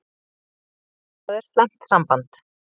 Það er slæmt samband.